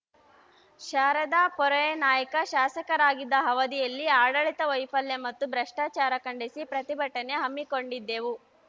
Sharada Puryanaik ಶಾಸಕರಾಗಿದ್ದ ಅವಧಿಯಲ್ಲಿನ ಆಡಳಿತ ವೈಫಲ್ಯ ಮತ್ತು ಭ್ರಷ್ಟಾಚಾರ ಖಂಡಿಸಿ ಪ್ರತಿಭಟನೆ ಹಮ್ಮಿಕೊಂಡಿದ್ದೆವು